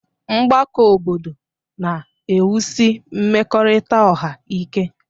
Mgbakọ obodo na-ewusi mmekọrịta ọha ike.